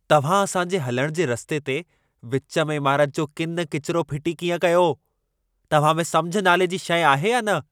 तव्हां असां जे हलण जे रस्ते ते विच में इमारत जो किन किचिरो फिटी कीअं कयो? तव्हां में समिझ नाले जी शइ आहे या न?